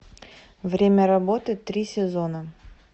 время работы три сезона